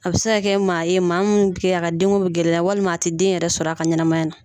A bɛ se kɛ maa ye maa mun a ka den ko bɛ gɛlɛya walima a tɛ den yɛrɛ sɔrɔ a ka ɲɛnamaya na.